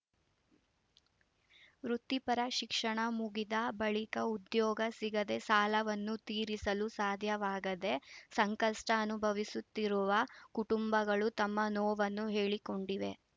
ವೃತ್ತಿಪರ ಶಿಕ್ಷಣ ಮುಗಿದ ಬಳಿಕ ಉದ್ಯೋಗ ಸಿಗದೆ ಸಾಲವನ್ನು ತೀರಿಸಲು ಸಾಧ್ಯವಾಗದೆ ಸಂಕಷ್ಟಅನುಭವಿಸುತ್ತಿರುವ ಕುಟುಂಬಗಳು ತಮ್ಮ ನೋವನ್ನು ಹೇಳಿಕೊಂಡಿವೆ